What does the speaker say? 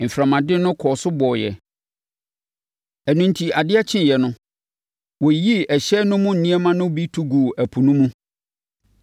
Mframaden no kɔɔ so bɔeɛ; ɛno enti adeɛ kyeeɛ no, wɔyiyii ɛhyɛn no mu nneɛma no bi to guu ɛpo no mu.